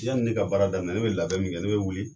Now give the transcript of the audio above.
Yanni ne ka baara daminɛ ne bɛ labɛn min kɛ ne bɛ wuli